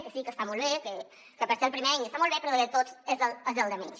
que sí que està molt bé per ser el primer any està molt bé però de tots és el que menys